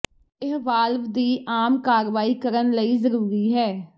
ਇਹ ਵਾਲਵ ਦੀ ਆਮ ਕਾਰਵਾਈ ਕਰਨ ਲਈ ਜ਼ਰੂਰੀ ਹੈ